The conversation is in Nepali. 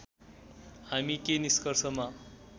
हामी के निष्कर्षमा